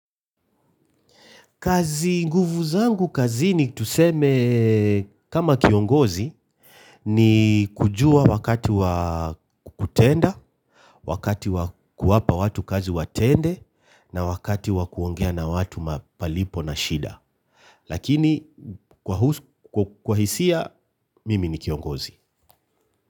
Kazi nguvu zangu kazini tuseme kama kiongozi ni kujua wakati wa kutenda, wakati wa kuwapa watu kazi watende na wakati wa kuongea na watu malipo na shida. Lakini kwa hisia mimi ni kiongozi.